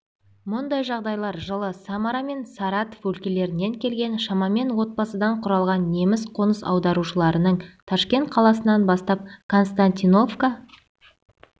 мұндай жағдайлар жылы самара мен саратов өлкелерінен келген шамамен отбасыдан құралған неміс қоныс аударушыларының ташкент қаласынан бастап константиновка